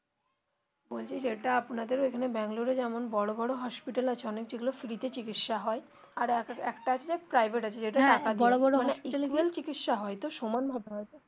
বলছি যেটা আপনাদের ওখানে ব্যাঙ্গালোরে এ যেমন বড়ো বড়ো hospital আছে অনেক যেগুলো free তে চিকিৎসা হয় আর একটা আছে যে private আছে যেটা তে টাকা দিয়ে চিকিৎসা হয় তো সমানভাবে হয় তো.